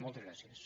moltes gràcies